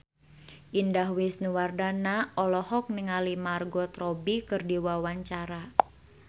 Indah Wisnuwardana olohok ningali Margot Robbie keur diwawancara